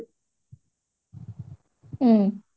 ହୁଁ